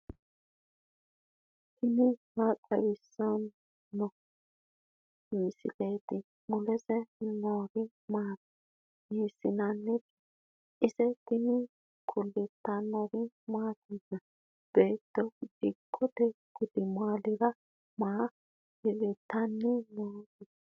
tini maa xawissanno misileeti ? mulese noori maati ? hiissinannite ise ? tini kultannori mattiya? beetto dikkotte gudummaallira maa hirittannote?